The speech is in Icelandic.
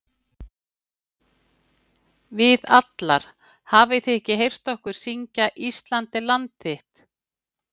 Við allar- hafið þið ekki heyrt okkur syngja Ísland er land þitt??